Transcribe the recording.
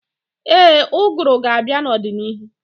Ee, ụgụrụ ga-abịa n'ọdịnihu.